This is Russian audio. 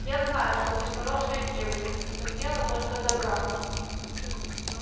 я знаю что ты хорошая девочка и хотела только добра